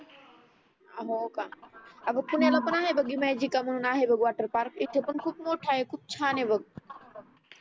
हो का अग पुण्याला पण हो आहे बग ईमॅजिक म्हणून आहे वॉटरपार्क इथे पण खूप मोठा आहे खूप छान आहे बग